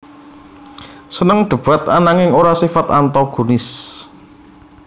Seneng debat ananging ora sifat antagonis